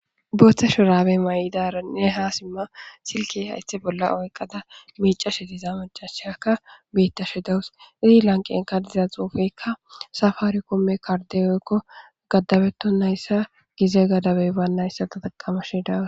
Dooththe shu rabe may7idaranne haa simma silke haythe bolla oyqqada miicashe tiza macasheyakka biitta shidawus izi lanqen ka diza xuufekka safaari komme karde oykko gaddabeto nayssa gize gadabey baannayssata taqamashidaw